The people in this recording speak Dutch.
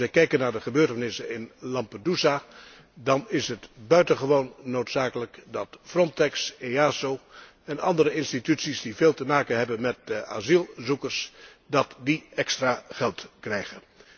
Als wij kijken naar de gebeurtenissen in Lampedusa, dan is het buitengewoon noodzakelijk dat Frontex, EASO en andere instanties die veel te maken hebben met asielzoekers, extra geld krijgen.